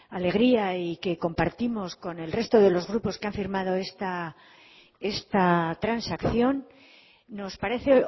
alegría y que compartimos con el resto de los grupos que han firmado esta transacción nos parece